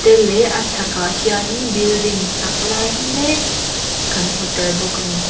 tel leh a chhak ah hian in building sak lai mek kan hmu tel bawk a ni.